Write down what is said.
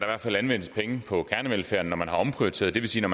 anvendes penge på kernevelfærden når man har omprioriteret det vil sige at